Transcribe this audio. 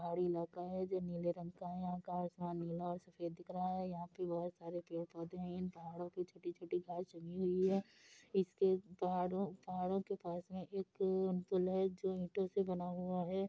पहाड़ी इलाका है जो नील रंगका है | आसमान नीला है सफ़ेद दिख रहा है | यहाँ पे बहोत सारे पेड़ पोधे है। इन पहाड़ों पर छोटी छोटी घास लगी हुए है | इसके पहाड़ों के पास में है जो की ईटों से बना हुआ है ।